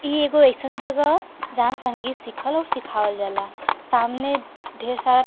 इ एगो अइसन जगह ह जहां संगीत सिखल अउर सिखावल जाला। सामने ढेर सारा --